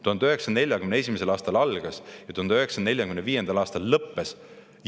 1941. aastal see algas ja 1945. aastal lõppes.